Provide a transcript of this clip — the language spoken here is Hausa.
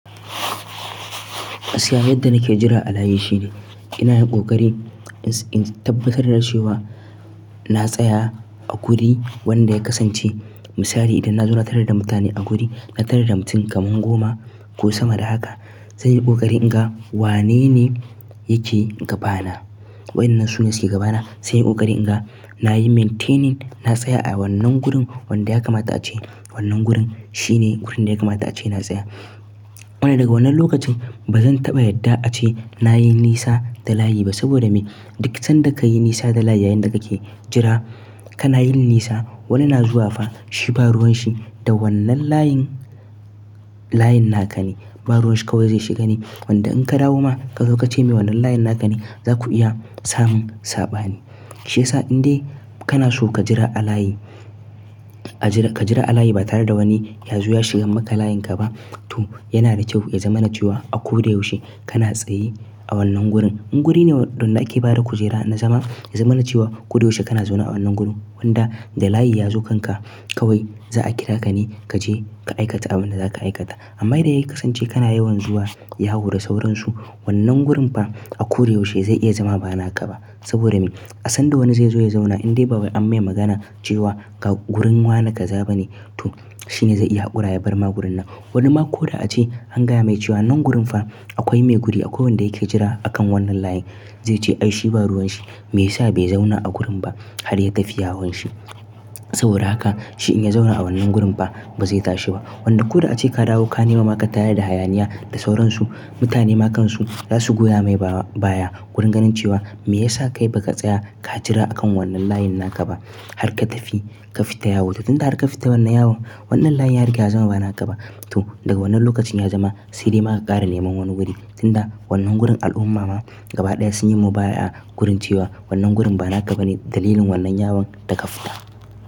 Gaskiya yadda nake jira a layi shine, ina yin ƙoƙari in tabbatar da cewa na tsaya a guri wanda ya kasance. Misali idan na zo na tarar da mutane a guri, na tarar da mutum kamar goma ko sama da haka, zan yi ƙoƙari in ga wane ne yake gabana. Waɗannan su ne suke gabana. Zan yi ƙoƙari in ga, na yi maintaining, na tsaya a wannan gurin wanda ya kamata ace wannan gurin shine gurin da ya kamata ace na tsaya. Wanda daga wannan lokacin ba zan taɓa yadda ace nayi nisa da layi ba saboda me? Duk san da ka yi nisa da layi yayin da kake jira, kana yin nisa. Wani na zuwa fa shi ba ruwan shi da wannan layin, layin naka ne. Ba ruwan shi kawai zai shiga ne. Wanda in ka dawo ma ka zo ka ce mai wannan layin naka ne, za ku iya samun saɓani. Shi ya sa in dai kana so ka jira a layi, ka jira a layi ba tare da wani ya zuwa shigan maka layin ka ba to yana da kyau ya zama na cewa a ko da yaushe kana tsaye a wannan gurin. In guri ne wanda ake bada kujera na zama, ya zama na cewa ko da yaushe kana zauna a wannan gurin wanda da layi ya zo kanka kawai za a kira ka ne ka je ka aikata abin da zaka aikata. Amma idan ya kasance kana yawan zuwa yawo da sauransu wannan gurin fa a ko da yaushe zai iya zama ba naka ba. Saboda me? A sanda wani zai zo ya zauna in dai ba wai an mai magana cewa ga gurin wane ka zaba ne to shi ne zai iya ƙuraya barma gurin nan. Wani ma ko da ace angaya mai cewa wannan gurin fa akwai mai guri akwai wanda yake jira akan wannan layin, zai ce ai shi ba ruwan shi. Meyasa bai zauna a gurin ba har ya tafi yawon shi. Saboda haka shi in ya zauna a wannan gurin fa ba zai tashi ba. Wanda ko da ace ka dawo ka nemi ma ka tayarda da hayaniya da sauransu, mutane ma kansu za su goya mai baya. Kurin ganin cewa me yasa kai baka ka jira akan wannan layin naka ba har ka tafi ka fita yawo to tunda aka fita wannan yawon wannan layin ya riga ya zama ba naka ba to daga wannan lokacin ya zama sai dai ma ka ƙara neman wani guri tunda wannan gurin al'umma ma gaba ɗaya sun yi mubaya gurin cewa wannan gurin ba naka ba ne dalilin wannan yawon da ka fita.